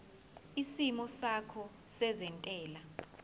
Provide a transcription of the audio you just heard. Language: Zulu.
isimo sakho sezentela